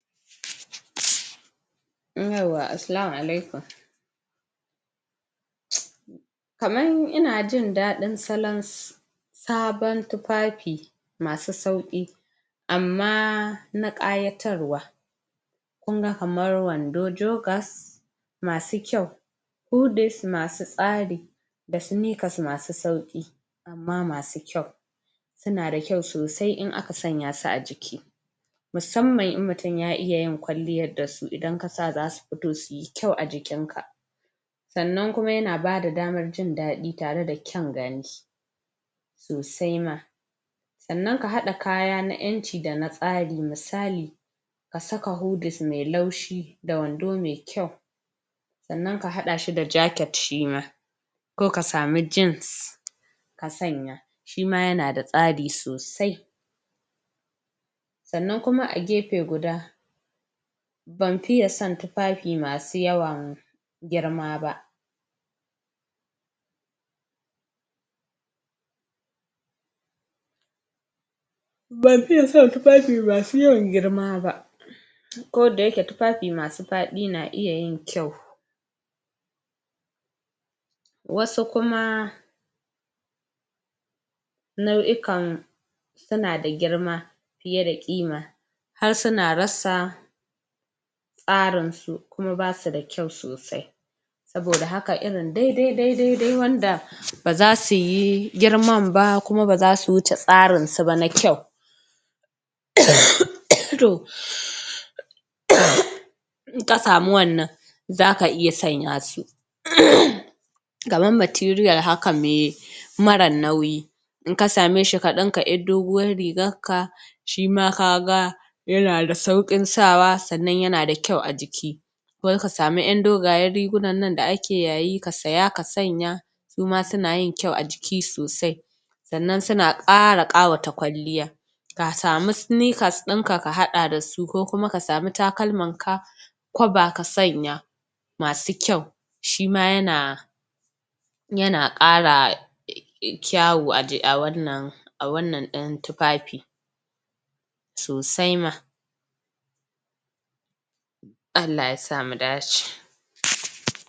Yauwa! Assalamu alaikum kamar ina jin daɗin salon sabon tufafi masu sauƙi amma na ƙayatarwa kun ga kamar wando jokers masu kyau hudes masu tsari da snickers masu sauƙi amma masu kyau suna da kyau sosai in aka sanya su a jiki musamman in mutum ya iya yin kwalliyar da su idan ka sa za su fito su yi kyau a jikinka sannan kuma yana bada damar jin dadi tare da kyan gani sosai ma sannan ka haɗa kaya na ƴanci da na tsari misali ka saka hudes mai laushi da wando mai kyau sannan ka haɗa shi da jacket shi ma ko ka samu jeans ka sanya shi ma yana da tsari sosai sannan kuma a gefe guda ban fiye son tufafi masu yawan girma ba ban fiye son tufafi masu yawan girma ba ko da yake tufafi masu faɗi na iya yin kyau wasu kuma nau'ikan suna da girma fiye da ƙima har suna rasa tsarinsu kuma ba su da kyau sosai saboda haka irin daidai-daidai wanda ba za su yi girman ba kuma ba za su tsarinsu ba na kyau emmm em to ehmmm in ka samu wannan zaka iya sanya su emmmm kamar material haka me... marar nauyi in ka same shi ka ɗinka ƴar doguwar rigarka shi ma ka ga yana da sauƙin sawa sannan yana da kyau a jiki wai ka samu ƴan dogayen rigunan nan da ake yayi ka saya ka sanya su ma suna yin kyau a jiki sosai sannan su na ƙara ƙawata kwalliya ka samu snickers ɗinka ka haɗa da su ko kuma ka takalmanka kwaba ka sanya masu kyau shi ma yana yana ƙara kyawu a wannan a wannan ɗin tufafi sosai ma Allah Ya sa mu dace.